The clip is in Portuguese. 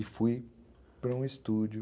E fui para um estúdio.